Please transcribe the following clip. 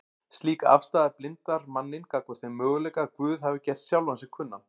Slík afstaða blindar manninn gagnvart þeim möguleika að Guð hafi gert sjálfan sig kunnan